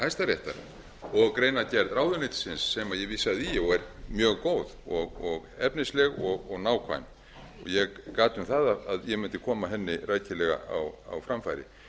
hæstaréttar og greinargerð ráðuneytisins sem ég vísaði í og er mjög góð efnisleg og nákvæm og ég gat um það að ég mundi koma henni rækilega á framfæri